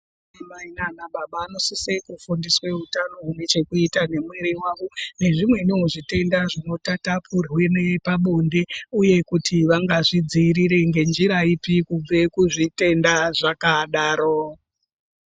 Anamai nanababa vanosisa kufundiswa utano hune chekuita neurwere hwavo nezvimweniwo zvitenda zvinotatapurirwa pabonde uye kuti vangazvidzivirere ngenjira ipi kubve kuzvitenda zvakadaro.